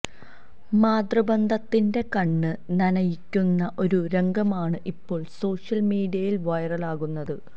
മാതൃബന്ധത്തിന്റെ കണ്ണ് നനയിക്കുന്ന ഒരു രംഗമാണ് ഇപ്പോള് സോഷ്യല് മീഡിയയില് വൈറലാകുന്നത്